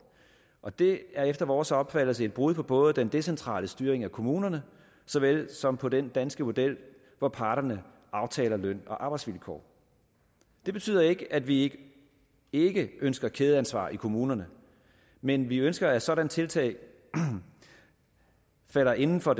og det er efter vores opfattelse et brud på på den decentrale styring af kommunerne så vel som på den danske model hvor parterne aftaler løn og arbejdsvilkår det betyder ikke at vi ikke ønsker kædeansvar i kommunerne men vi ønsker at sådanne tiltag falder inden for